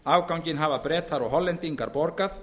afganginn hafa bretar og hollendingar borgað